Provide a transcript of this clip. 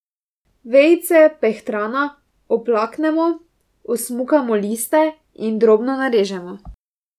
Vejice pehtrana oplaknemo, osmukamo liste in drobno narežemo.